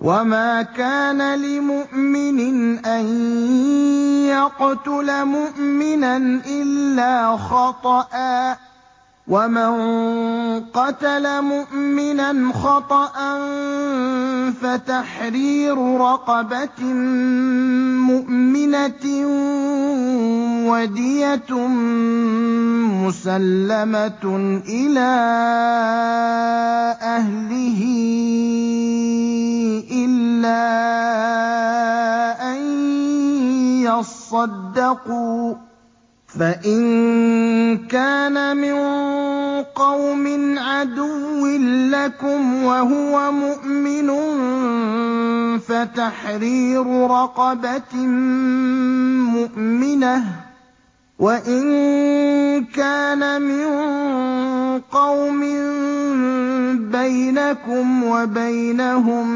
وَمَا كَانَ لِمُؤْمِنٍ أَن يَقْتُلَ مُؤْمِنًا إِلَّا خَطَأً ۚ وَمَن قَتَلَ مُؤْمِنًا خَطَأً فَتَحْرِيرُ رَقَبَةٍ مُّؤْمِنَةٍ وَدِيَةٌ مُّسَلَّمَةٌ إِلَىٰ أَهْلِهِ إِلَّا أَن يَصَّدَّقُوا ۚ فَإِن كَانَ مِن قَوْمٍ عَدُوٍّ لَّكُمْ وَهُوَ مُؤْمِنٌ فَتَحْرِيرُ رَقَبَةٍ مُّؤْمِنَةٍ ۖ وَإِن كَانَ مِن قَوْمٍ بَيْنَكُمْ وَبَيْنَهُم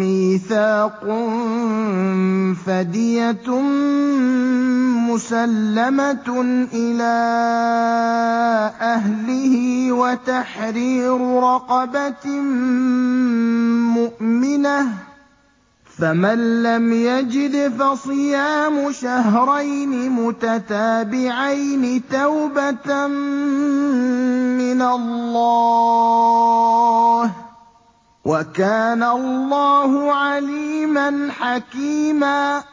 مِّيثَاقٌ فَدِيَةٌ مُّسَلَّمَةٌ إِلَىٰ أَهْلِهِ وَتَحْرِيرُ رَقَبَةٍ مُّؤْمِنَةٍ ۖ فَمَن لَّمْ يَجِدْ فَصِيَامُ شَهْرَيْنِ مُتَتَابِعَيْنِ تَوْبَةً مِّنَ اللَّهِ ۗ وَكَانَ اللَّهُ عَلِيمًا حَكِيمًا